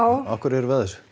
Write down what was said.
af hverju erum við að þessu